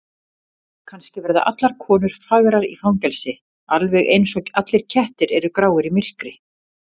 Kannski verða allar konur fagrar í fangelsi, alveg einsog allir kettir eru gráir í myrkri.